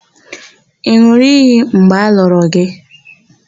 Ị n̄ụrụ iyi mgbe a lụrụ gị?